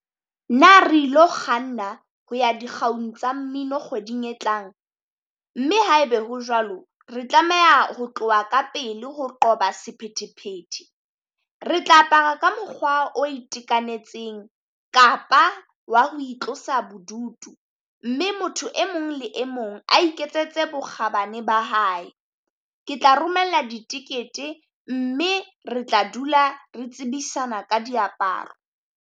Na re ilo kganna ho ya dikgaung tsa mmino kgweding e tlang? Mme haebe ho jwalo, re tlameha ho tloha ka pele ho qoba sephethephethe. Re tla apara ka mokgwa o itekanetseng, kapa wa ho itlosa bodutu, mme motho e mong le e mong a iketsetse bokgabane ba hae. Ke tla romella ditekete mme re tla dula re tsebisa ka diaparo.